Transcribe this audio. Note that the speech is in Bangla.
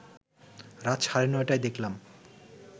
রাত সাড়ে নটায় দেখলাম